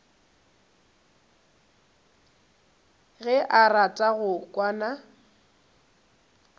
ge o rata go kwana